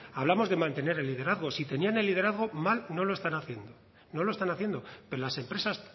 hablamos de mantener el liderazgo si tenían el liderazgo mal no lo están haciendo no lo están haciendo pero las empresas